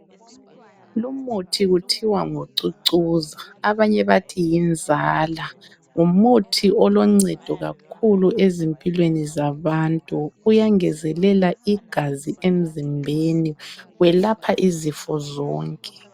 Lumuthi kuthiwa ngucucuza abanye bathi yinzala, ngumuthi oloncedo kakhulu ezimpilweni zabantu, uyangezelela igazi emzimbeni. Welapha izifo zonke.